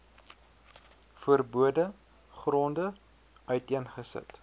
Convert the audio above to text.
verbode gronde uiteengesit